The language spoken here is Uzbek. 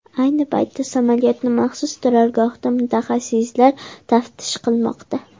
Ayni paytda samolyotni maxsus turargohda mutaxassislar taftish qilmoqda.